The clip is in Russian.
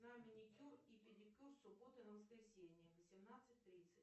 на маникюр и педикюр с субботы на воскресенье в восемнадцать тридцать